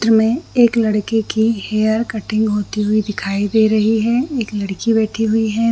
चित्र में एक लड़के की हेयर कटिंग होती हुई दिखाई दे रही है एक लड़की बैठी हुई हैं ।